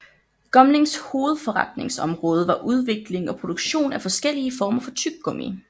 Gumlinks hovedforretningsområde var udvikling og produktion af forskellige former for tyggegummi